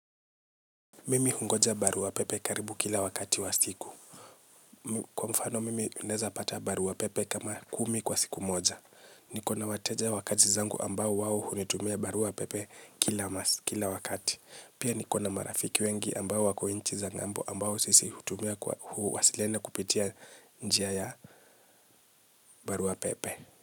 Mimi hungoja barua pepe karibu kila wakati wa siku. Kwa mfano, mimi naweza pata barua pepe kama kumi kwa siku moja. Niko na wateja wakazi zangu ambao wao hunitumia barua pepe kila wakati. Pia niko na marafiki wengi ambao wako inchi za ngambo ambao sisi hutumia huwasiliana kupitia njia ya barua pepe.